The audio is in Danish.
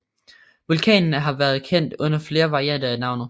Vulkanen har været kendt under flere varianter af navnet